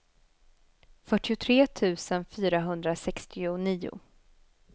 fyrtiotre tusen fyrahundrasextionio